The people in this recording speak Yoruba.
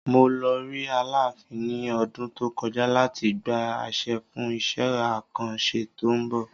Mo lọ rí aláàfin ní ọdún tó kọjá láti gba àṣẹ fún isẹ́ àkàn ṣẹ́ tó ń bọ̀.